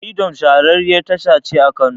Firidom shahararriyar tasha ce a Kano.